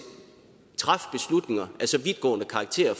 træffe beslutninger af så vidtgående karakter